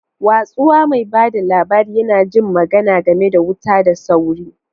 Watsuwa, mai ba da labari, yana jin magana game da wuta da sauri.